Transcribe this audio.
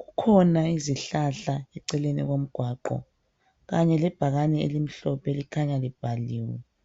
Kukhona izihlahla eceleni komgwaqo kanye lebhakane elimhlophe elikhanya libhaliwe.